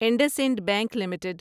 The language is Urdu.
Indus and Bank limited